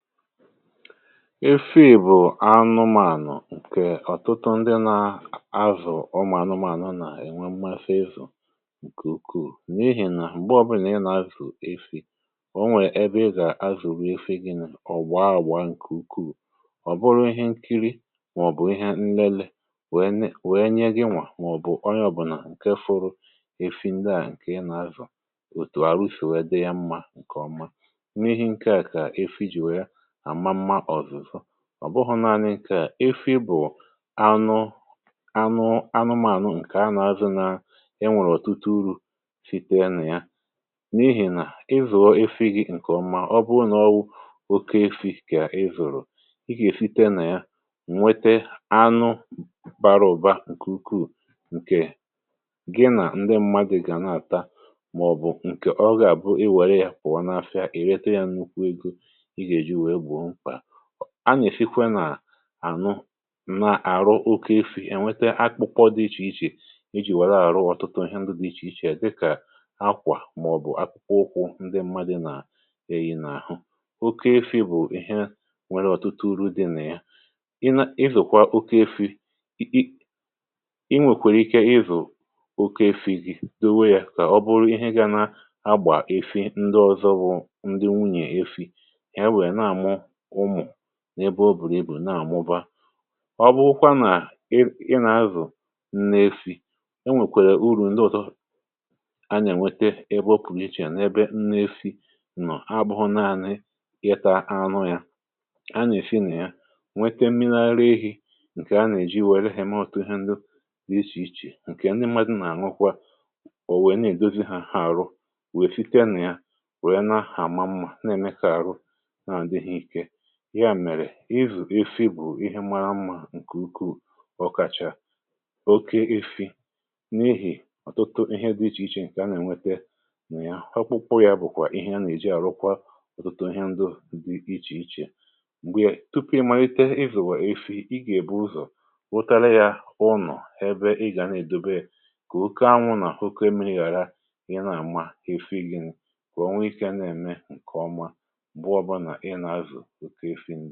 efi bụ̀ anụmànụ̀ kà ọ̀tụtụ ndị na-azụ̀ ụmụ̀ anụmànụ̀ nà-ènwe mmafe ịzụ̀ ǹkè ukwuù n’ihì nà m̀gbe ọbụlà ị nà-azụ̀ efi̇ um onwè ebe ị gà-azụ̀wi efe gịnụ̇ ọ̀gwọ awa ǹkè ukwuù ọ̀ bụrụ ịhe nkiri màọ̀bụ̀ ịhe nlele wèe nye gịnwà màọ̀bụ̀ ọ ya ọ̀bụ̀nà ǹkè fụrụ efi ndị à ǹkè ị nà-azụ̀ òtù arụsì wee di ya mma ǹkè ọma. ọ̀ bụhụ̇ naanị̇ kà efi bụ̀ anụ anụ anụmànụ̀ ǹkè anụ̇ azị nà enwèrè òtute urù site na ya n’ihì nà ịzụ̀e efi gị̇ ǹkè ọma ọ bụghụ n’ọwụ oke efi kà ịzụ̀rụ̀, ịgà èfite nà ya nwete anụ baraụ̀ba ǹkè ukwuù ǹkè gị nà ndị mmadụ̀ gà a nà-àta màọ̀bụ̀ ǹkè ọ gà-àbụ i wère ya pụ̀wa n’afịa ì rete ya nnukwu egȯ. a nà-èfikwa nà-ànụ um nà-àrụ oke efì ènwete akpụkpọ dị ichè ichè iji wère àrụ ọ̀tụtụ ihe ndụ dị ichè ichè à dịkà akwà màọ̀bụ̀ akpụkpọ ụkwụ ndị mmadụ nà-eyì n’àhụ. oke efì bụ̀ ihe nwere ọ̀tụtụ uru̇ dị nà ya ị zụ̀kwa oke efì, ị um ǹ nwèkwèrè ike ịzụ̀ oke efì gị̇ dewe yȧ kà ọ bụrụ ihe ga na agbà efi ndị ọ̀zọ bụ ndị nwunyè efi n’ebe o bùrù ibù nà-àmụba. ọ bụrụkwa nà ị nà-azụ̀ nna-esi e nwèkwèrè uru̇ ndị ọ̀tọ a nà-ènwete ebe o pùghị ichè n’ebe nna-esi ǹọ̀, abụhụ naȧnị yeta anụ ya a nà-èsi nà ya nwete mmịnȧra ehi̇ ǹkè a nà-èji wère heme ọ̀tụ hȧ ndị dị ichè ichè ǹkè ndị mmadụ nà-àṅụkwa ò wèe na-èdozi hȧ àrụ wèe siti a nà ya wèe na-ahàma mmȧ na-èmekà àrụ ihe à mèrè izù efi bụ̀ ihe mma mmȧ ǹkè ukwuu ọkàchà oke ifi n’ihì ọ̀tụtụ ihe dị ichè ichè ǹkè a nà-ènwete mà ya họkpụkpụ ya bụ̀kwà ihe a nà-èji àrụkwa ọ̀tụtụ ihe ndị dị ichè ichè. m̀gbè tupu ị màlite izù wà efi i gà-èbu ụzọ̀ wụtara ya ụnọ̀ ebe ị gà na-èdobe kà oke anwụnà hụke me ghàra ihe na-àma hefi gìn kwà onwe ike um na-ème ǹkè ọma ǹké ká yá í fíntà.